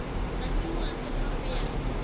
masimo a senngwa ho ya